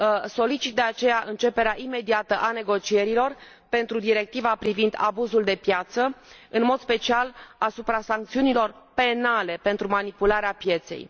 Solicit, de aceea, începerea imediată a negocierilor pentru Directiva privind abuzul de piață, în mod special, asupra sancțiunilor penale pentru manipularea pieței.